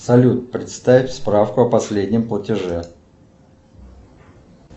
салют представь справку о последнем платеже